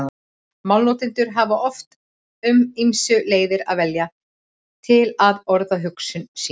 Málnotendur hafa oft um ýmsar leiðir að velja til að orða hugsun sína.